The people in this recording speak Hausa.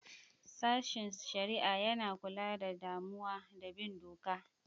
Sashin Shari'a: Yana kula da damuwa da bin doka.